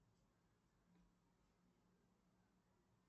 сбер почему вымерли мамонты